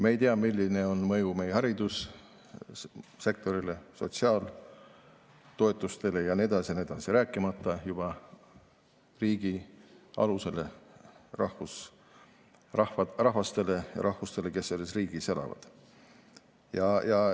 Me ei tea, milline on mõju meie haridussektorile, sotsiaaltoetustele ja nii edasi ja nii edasi, rääkimata riigi alusest, rahvastest ja rahvustest, kes selles riigis elavad.